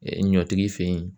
ɲɔtigi fɛ yen.